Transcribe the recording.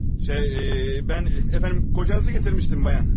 Şey, mən əfəndim qocanızı gətirmişdim, bayan.